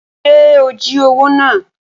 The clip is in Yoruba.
Ṣe o jí owó náà?